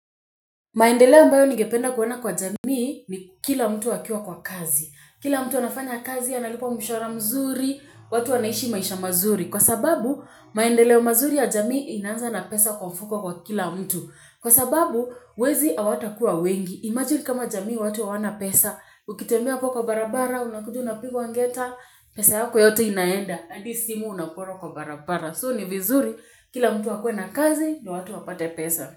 Maendeleo ambayo ningependa kuona kwa jamii ni kila mtu akiwa kwa kazi. Kila mtu anafanya kazi analipwa mshahara mzuri, watu wanaishi maisha mazuri. Kwa sababu, maendeleo mazuri ya jamii inaanza na pesa kwa mfuko kwa kila mtu. Kwa sababu, wezi awatakuwa wengi. Imagine kama jamii watu hawana pesa. Ukitembea ukiwa kwa barabara, unakuja unapigwa ngeta, pesa yako yote inaenda. Adi simu unaporwa kwa barabara. So ni vizuri, kila mtu akue na kazi ndio watu wapate pesa.